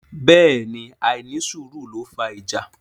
Bẹ́ẹ̀ ni àìnísùúrù ló fà ìjà.